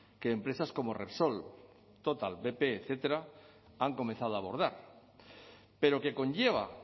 que empresas como repsol total bp etcétera han comenzado a abordar pero que conlleva